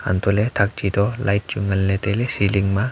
antohley thak chi to light chu nganley tailey ceiling ma.